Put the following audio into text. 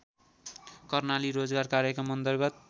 कर्णाली रोजगार कार्यक्रमअन्तर्गत